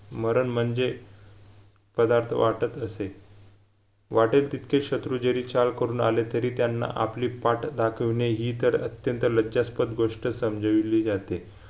मरण म्हणजे पदार्थ वाटत असेल वाटेत तितके शत्रूजरी चाल करून आले तरी त्यांना आपली पाठ दाखविणे हि तर अत्यंत लज्जास्पद गोष्ट समजिवली जाते